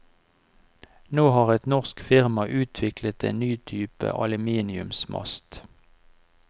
Nå har et norsk firma utvilklet en ny type aluminiumsmast.